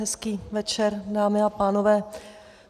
Hezký večer, dámy a pánové.